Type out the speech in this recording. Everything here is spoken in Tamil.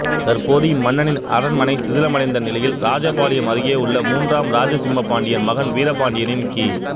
தற்போது இம்மன்னனின் அரண்மனை சிதிலமடைந்த நிலையில் ராஜபாளையம் அருகே உள்ள மூன்றாம் ராஜசிம்ம பாண்டியன் மகன் வீரபாண்டியனின் கி